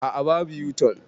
Aa, babu yo-tun